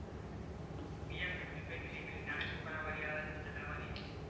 BMW કઈ પેલી પેલી નાના છોકરાવાડી આવે છે જે ચલાવવાની એ